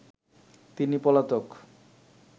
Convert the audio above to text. তিনি পলাতক